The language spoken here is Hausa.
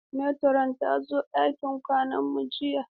Meturon ta zo ɗakin kwanan mu jiya.